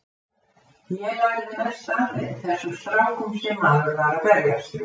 Ég lærði mest frá þeim, þessum strákum sem maður var að berjast við.